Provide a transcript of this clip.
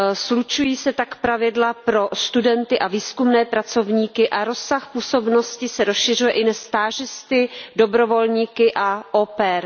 Slučují se tak pravidla pro studenty a výzkumné pracovníky a rozsah působnosti se rozšiřuje i na stážisty, dobrovolníky a au pair.